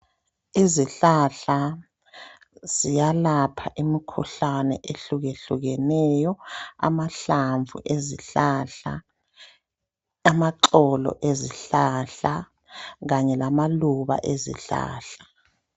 Izihlahla ziyalapha imikhuhlane ehlukehlukeneyo. Amahlamvu ezihlahla, amaxolo ezihlahla ,kanye lamaluba ezihlahla.